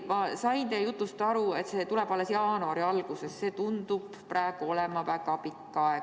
Ma sain teie jutust aru, et kõik tuleb alles jaanuari alguses, aga see tundub praegu olevat väga pikk aeg.